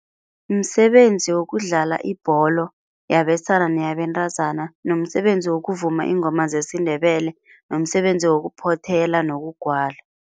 Msebenzi wokudlala ibholo yabesana neyabentazana nomsebenzi wokuvuma iingoma zesiNdebele nomsebenzi wokuphothela nokugwala.